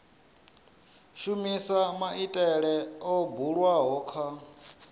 shumisa maitele o bulwaho kha